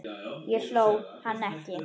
Ég hló, hann ekki.